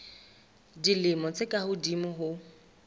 dilemo tse ka hodimo ho